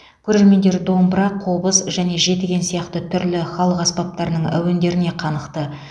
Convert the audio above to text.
көрермендер домбыра қобыз және жетіген сияқты түрлі халық аспаптарының әуендеріне қанықты